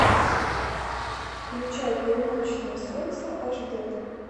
включай полуночное солнце аш дэ